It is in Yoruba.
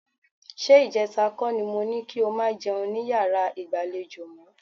Ṣé ìjẹta kọ́ ni mo ní kí o máa jẹun ní yàrá ìgbàlejò mọ́?